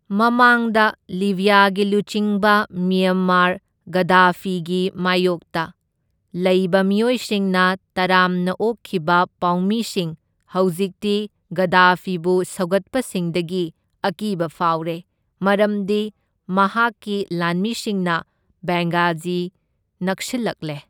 ꯃꯃꯥꯡꯗ ꯂꯤꯕ꯭ꯌꯥꯒꯤ ꯂꯨꯆꯤꯡꯕ ꯃ꯭ꯌꯝꯃꯔ ꯒꯗꯥꯐꯤꯒꯤ ꯃꯥꯢꯌꯣꯛꯇ ꯂꯩꯕ ꯃꯤꯑꯣꯏꯁꯤꯡꯅ ꯇꯔꯥꯝꯅ ꯑꯣꯛꯈꯤꯕ ꯄꯥꯎꯃꯤꯁꯤꯡ ꯍꯧꯖꯤꯛꯇꯤ ꯒꯗꯥꯐꯤꯕꯨ ꯁꯧꯒꯠꯄꯁꯤꯡꯗꯒꯤ ꯑꯀꯤꯕ ꯐꯥꯎꯔꯦ, ꯃꯔꯝꯗꯤ ꯃꯍꯥꯛꯀꯤ ꯂꯥꯟꯃꯤꯁꯤꯡꯅ ꯕꯦꯡꯒꯥꯖꯤ ꯅꯛꯁꯤꯜꯂꯛꯂꯦ꯫